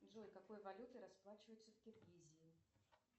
джой какой валютой расплачиваются в киргизии